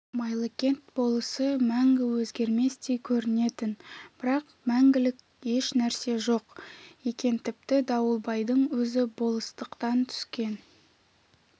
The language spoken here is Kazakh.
майлыкент болысы мәңгі өзгерместей көрінетін бірақ мәңгілік еш нәрсе жоқ екен тіпті дауылбайдың өзі болыстықтан түскен